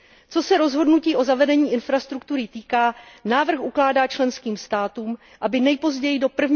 Co se týče rozhodnutí o zavedení infrastruktury, návrh ukládá členským státům, aby nejpozději